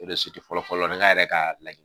O de fɔlɔ fɔlɔ nga yɛrɛ ka laɲini